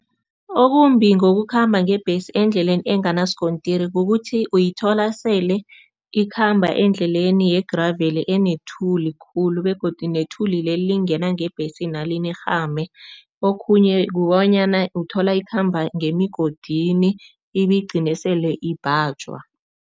Okumbi ngokukhamba ngebhesi endleleni enganasikontiri kukuthi, uyithola sele ikhamba endleleni ye-gravel enethuli khulu begodu nethuli leli lingena ngebhesina linirhame okhunye kukobanyana uthola ikhamba ngemigodini ibigcine sele ibhajwa.